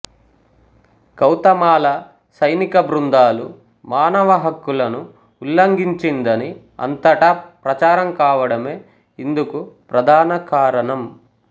Guatemala సైనికబృందాలు మానహక్కులను ఉల్లంఘించిందని అంతటా ప్రచారం కావడమే ఇందుకు ప్రధాన కారణం